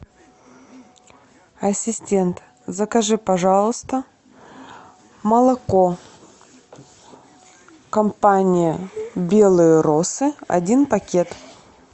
ассистент закажи пожалуйста молоко компании белые росы один пакет